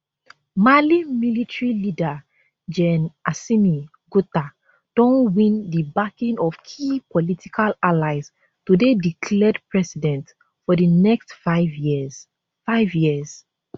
mali military leader gen assimi gota don win di backing of key political allies to dey declared president for di next five years five years